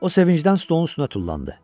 O sevincdən stolun üstünə tullandı.